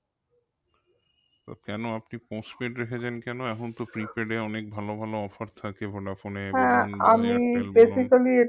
আহ কেন আপনি postpaid রেখেছেন কেন? এখন তো prepaid এ অনেক ভালো ভালো offer থাকে ভোডাফোনে